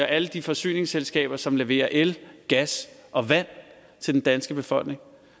alle de forsyningsselskaber som leverer el gas og vand til den danske befolkning